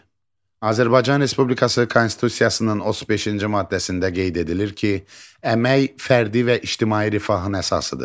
Azərbaycan Respublikası Konstitusiyasının 35-ci maddəsində qeyd edilir ki, əmək fərdi və ictimai rifahın əsasıdır.